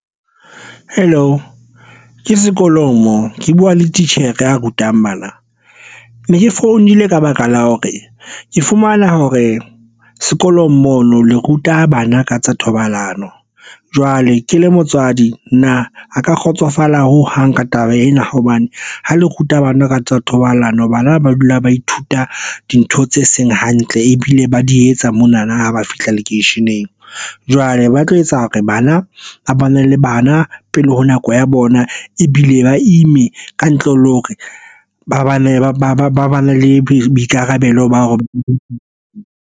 Hello, ke sekolong moo ke buwa le titjhere a rutang bana. Ne ke founile ka baka la hore ke fumana hore sekolong mona le ruta bana ka tsa thobalano jwale ke le motswadi na ha ka kgotsofala ho hang ka taba ena hobane ho le ruta bana ka tsa thobalano. Bana ba dula ba ithuta dintho tse seng hantle ebile ba di etsa mona na. Ha ba fihla lekeisheneng keneng jwale ba tlo etsa hore bana ba ba na le bana pele ho nako ya bona ebile ba ime ka ntle le hore ba bane ba ba ba ba ba na le boikarabelo ba ho.